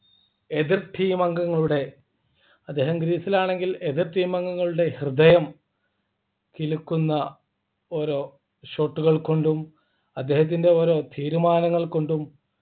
എതിർ team അംഗങ്ങളുടെ അദ്ദേഹം crease ൽ ആണെങ്കിൽ എതിർ team അംഗങ്ങളുടെ ഹൃദയം കിലുക്കുന്ന ഓരോ Short കൾ കൊണ്ടു അദ്ദേഹത്തിൻ്റെ ഓരോ തീരുമാനങ്ങൾ കൊണ്ടും